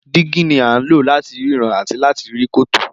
Dígí ní a ń lò láti ríran àti láti rí kòtò.